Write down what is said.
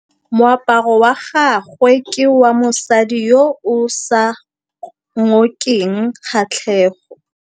Moaparô wa gagwe ke wa mosadi yo o sa ngôkeng kgatlhegô.